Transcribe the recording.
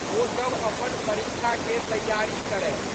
ओ सब अपन परीक्षाके तैयारी करए।